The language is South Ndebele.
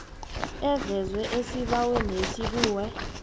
evezwe esibawenesi kunye